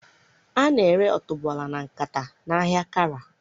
A na-ere otuboala na nkata na ahịa Kara.